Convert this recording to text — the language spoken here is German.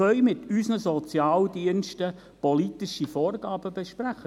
Wir können mit unseren Sozialdiensten politische Vorgaben besprechen.